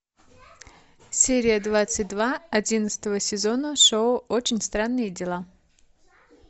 серия двадцать два одиннадцатого сезона шоу очень странные дела